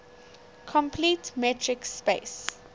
complete metric space